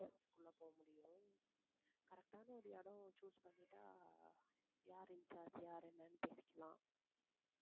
உள்ளே போக முடியும். correct ஆன ஒரு இடம் choose பண்ணிட்டா யாரு incharge யாரு என்னன்னு தெரிஞ்சிக்கலாம்.